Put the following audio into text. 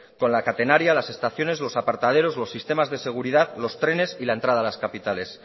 con la catenaria las estaciones los apartaderos los sistemas de seguridad los trenes y la entrada a las capitales